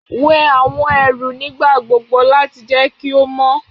Wẹ awọn ẹru nigbagbogbo lati jẹ ki o mọ